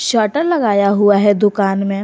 Shutter लगाया हुआ है दुकान में।